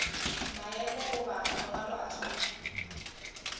maemo goba mangwalo a thuto